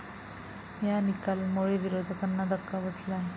या निकालामुळे विरोधकांना धक्का बसला आहे.